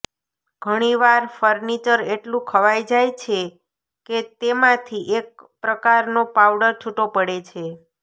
ઘણીવાર ફર્નિચર એટલું ખવાઈ જાય છે કે તેમાંથી એક પ્રકારનો પાવડર છૂટો પડે છે